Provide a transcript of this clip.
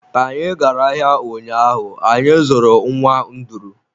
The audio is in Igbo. Ka anyị gara ahịa ụnyaahụ, anyị zụrụ nwa nduru.